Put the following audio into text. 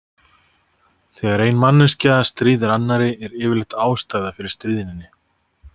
Þegar ein manneskja stríðir annarri, er yfirleitt ástæða fyrir stríðninni.